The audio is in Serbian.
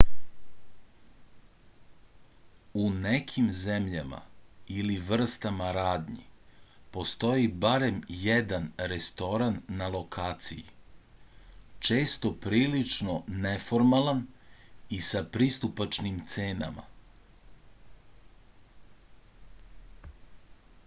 u nekim zemljama ili vrstama radnji postoji barem jedan restoran na lokaciji često prilično neformalan i sa pristupačnim cenama